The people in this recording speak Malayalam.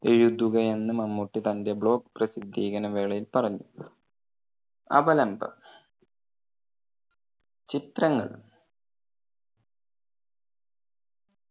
എഴുതുക എന്ന് മമ്മൂട്ടി തന്റെ blog പ്രസിദ്ധികരണ വേളയിൽ പറഞ്ഞു അവലംബം ചിത്രങ്ങൾ.